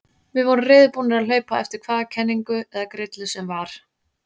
Við vorum reiðubúnir að hlaupa á eftir hvaða kenningu eða grillu sem var.